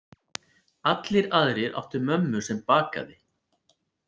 Allir aðrir áttu mömmu sem bakaði.